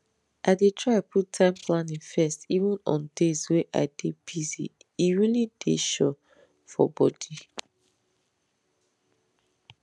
i dey try put time planning first even on days way i dey busye really dey sure for body